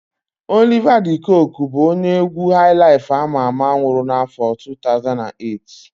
Oliva de Koku bụ onye égwú haịlaịf ama ama nwụrụ n'áfọ̀ 2008.